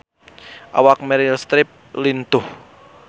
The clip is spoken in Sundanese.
Awak Meryl Streep lintuh